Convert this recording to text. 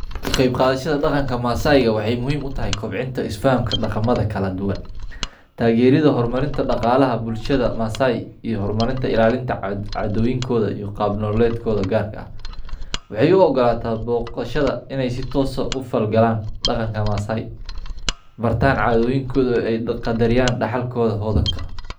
Kaqeyb qadhashada daqanka masaaiga waxey muhiim utahy kobcinta isfahanka daqanka kaladuwan. Taageridha hormarinta daqaalaha bulshada masaai iyo hormarinta ilaalinta caadhoyinka iyo qaab nololedkodha gaarka ah. Waxey uogalata booqashada in ey sitoos ah ufal galaan daqanka masaai bartaan caadhoyinkodha ey qadariyaan daxalkoodha hodhanka ah.